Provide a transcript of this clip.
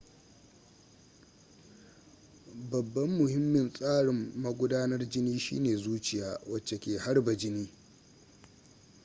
babban mahimmin tsarin magudanar jini shine zuciya wacce ke harba jini